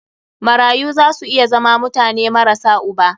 Marayu za su iya zama mutane marasa uba.